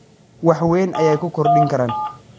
wax weyn ayay ku kordhin karaan: